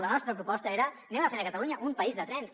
la nostra proposta era fem catalunya un país de trens